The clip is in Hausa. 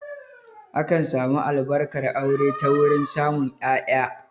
Akan samu Albarkar aure ta wurin samun ƴaƴa